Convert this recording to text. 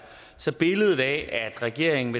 så billedet af at regeringen